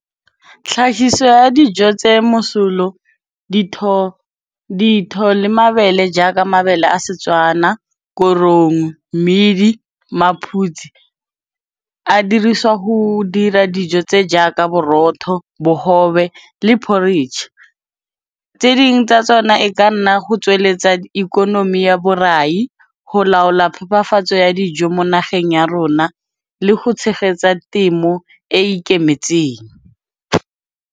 Tlhahiso ya dijo tse mosolo ditho le mabele jaaka, mabele a Setswana, korong, mmidi, maphutsi a dirisiwa ho dira dijo tse jaaka borotho, bogobe, le porridge. Tse dingwe tsa tsona e ka nna go tsweletsa ikonomi ya borai, ho laola phepafatso ya dijo mo nageng ya rona le ho tshegetsa temo e e ikemetseng.